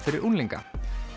unglinga